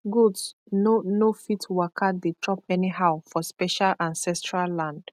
goat no no fit waka dey chop anyhow for special ancestral land